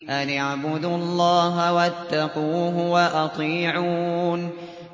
أَنِ اعْبُدُوا اللَّهَ وَاتَّقُوهُ وَأَطِيعُونِ